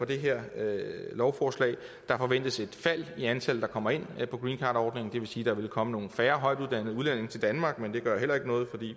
det her lovforslag der forventes et fald i antallet der kommer ind på greencardordningen det vil sige at der vil komme nogle færre højtuddannede udlændinge til danmark men det gør heller ikke noget